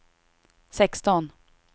sexton